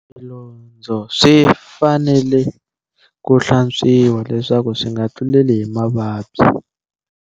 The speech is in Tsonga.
Swilondzo swi fanele ku hlantswiwa, leswaku swi nga tluleli hi mavabyi.